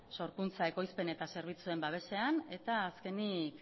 sorkuntza ekoizpen eta zerbitzuen babesean eta azkenik